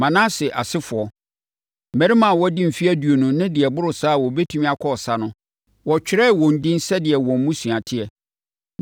Manase asefoɔ: Mmarima a wɔadi mfeɛ aduonu ne deɛ ɛboro saa a wɔbɛtumi akɔ ɔsa no, wɔtwerɛɛ wɔn edin sɛdeɛ wɔn mmusua teɛ.